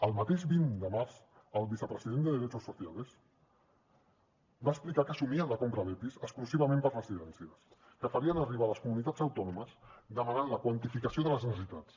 el mateix vint de març el vicepresident de derechos sociales va explicar que assumien la compra d’epis exclusivament per a residències que farien arribar a les comunitats autònomes i ens van demanar la quantificació de les necessitats